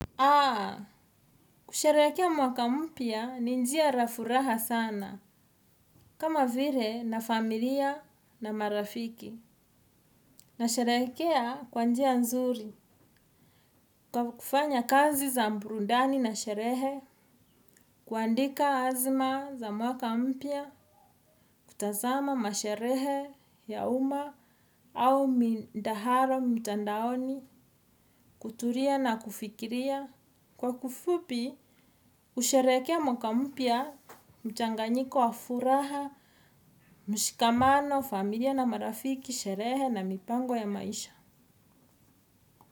Kusherehekea mwaka mpya ni njia la furaha sana, kama vile na familia na marafiki. Nasherehekea kwa njia nzuri, kwa kufanya kazi za burudani na sherehe, kuandika azma za mwaka mpya, kutazama masherehe ya umma au mindaharo mtandaoni, kutulia na kufikiria. Kwa kifupi, husherehekea mwaka mpya, mchanganyiko wa furaha, mshikamano, familia na marafiki, sherehe na mipango ya maisha.